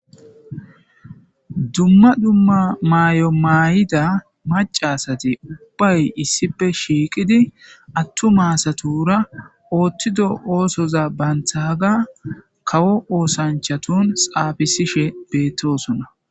dumma dumma maayo maay7ida macasati ubbay issipe shiiqidi attu maasatura oothtido oosoza banthaaga kawo oosanchatun xaafisishe beettosona